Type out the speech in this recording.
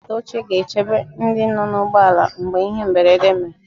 Beltụ oche ga-echebe ndị nọ n'ụgbọala mgbe ihe mberede mere